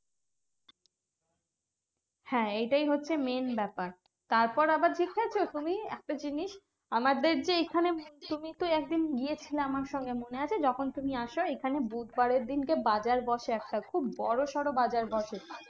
হ্যাঁ এইটাই হচ্ছে main ব্যাপার। তারপর আবার দেখেছো তুমি একটা জিনিস? আমাদের যে এইখানে তুমি তো একদিন গিয়েছিলে আমার সঙ্গে মনে আছে যখন তুমি আসো এইখানে? বুধবারের দিনকে বাজার বসে একটা খুব বড়োসড়ো বাজার বসে,